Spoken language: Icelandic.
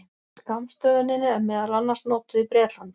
Skammstöfunin er meðal annars notuð í Bretlandi.